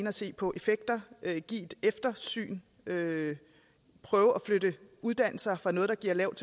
at se på effekter give et eftersyn prøve at flytte uddannelser fra noget der giver et lavt